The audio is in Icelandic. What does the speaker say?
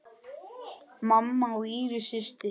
Mamma og Íris systir.